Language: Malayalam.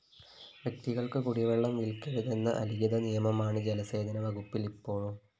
വ്യക്തികള്‍ക്ക് കുടിവെള്ളം വില്‍ക്കരുതെന്ന അലിഖിത നിയമമാണ് ജലസേചന വകുപ്പില്‍ ഇപ്പോഴും